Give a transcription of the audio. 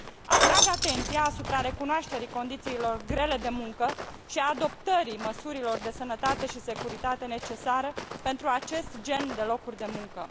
Atrag atenția asupra recunoașterii condițiilor grele de muncă și a adoptării măsurilor de sănătate și securitate, necesară pentru acest gen de locuri de muncă.